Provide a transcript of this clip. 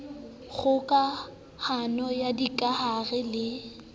kgoka hano ya dikahare le